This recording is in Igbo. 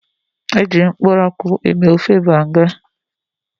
Ehu